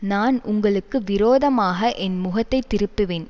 நான் உங்களுக்கு விரோதமாக என் முகத்தை திருப்புவேன்